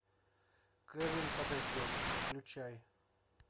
кевин подождет включай